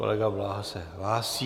Kolega Blaha se hlásí.